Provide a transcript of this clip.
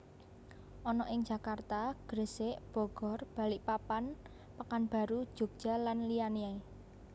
ana ing Jakarta Gresik Bogor Balikpapan Pekanbaru Jogja lan liyane